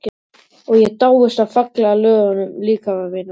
Og ég dáist að fallega löguðum líkama mínum.